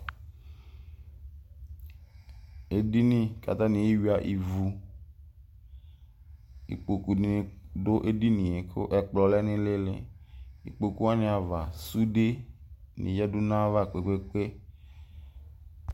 Edini kʋ atani ewuia ivu ikpokʋ ni dʋ edinie kʋ ɛkplɔ lɛnʋ ili ikpokʋ wani ava sude ni yadʋ nʋ ayu ava kpe kpe kpe